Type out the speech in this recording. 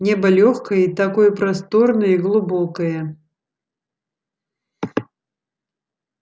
небо лёгкое и такое просторное и глубокое